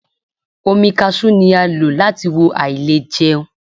Omi ewé kaṣú ni a lò láti wo àìlèjẹun.